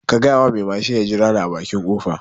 Ka gyayawa mai mashin ɗin ya jirane a baƙi kofa